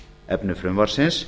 efni frumvarpsins